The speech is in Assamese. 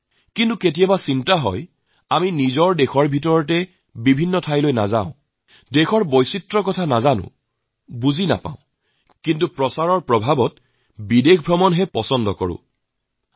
কিন্তু মাজে মাজে চিন্তা হয় নিজৰ দেশক তো আমি তেনেকৈ চোৱা নাই তাৰ বিভিন্নতাক জানিবলৈ বা বুজিবলৈ চেষ্টা কৰা নাই কিন্তু বিদেশৰ ফেশ্বনত আকৰ্ষিত হৈ আজি কালি পৰ্যটনৰ বাবে বিদেশলৈ যোৱাটোকে অধিক পছন্দ কৰা আৰম্ভ কৰি আহিছোঁ